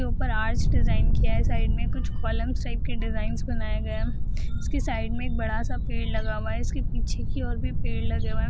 ऊपर डिज़ाइन किया है साइड मे कुछ कॉलम टाइप के डिज़ाइन बनाया गया है इसके साइड मे एक बड़ा सा पेड़ लगा हुआ है इसके पीछे की और भी पेड़ लगे हुए है।